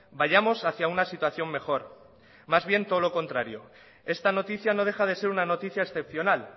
vayamos hacia una situación mejor más bien todo lo contrario esta noticia no deja de ser una noticia excepcional